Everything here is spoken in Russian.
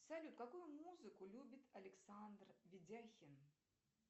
салют какую музыку любит александр ведяхин